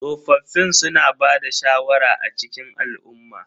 Tsofaffin suna bada shawara a cikin al'umma.